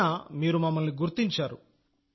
అయినా మీరు మమ్మల్ని అక్కడ కనుగొన్నారు